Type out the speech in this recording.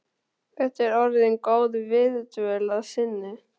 Þetta er orðin góð viðdvöl að sinni.